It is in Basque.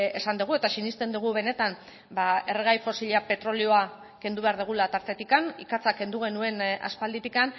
esan dugu eta sinesten dugu benetan erregai fosila petrolioa kendu behar dugula tartetik ikatza kendu genuen aspalditik